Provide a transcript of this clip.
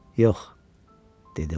Yox, dedi o.